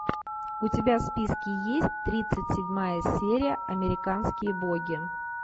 у тебя в списке есть тридцать седьмая серия американские боги